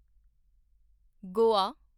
Goa